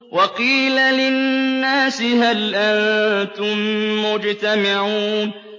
وَقِيلَ لِلنَّاسِ هَلْ أَنتُم مُّجْتَمِعُونَ